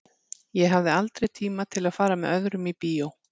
Ég hafði aldrei tíma til að fara með öðrum í bíó.